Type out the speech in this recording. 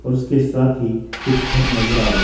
और इसके साथ ही कुछ घर नजर आ रहे हैं।